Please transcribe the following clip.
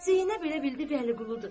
Zeynəb elə bildi Vəliquludur.